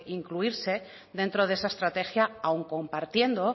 incluirse dentro de esta estrategia aun compartiendo